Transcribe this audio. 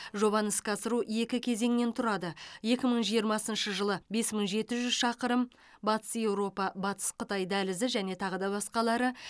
жобаны іске асыру екі кезеңнен тұрады екі мың жиырмасыншы жылы бес мың жеті жүз шақырым батыс еуропа батыс қытай дәлізі және тағы да басқалары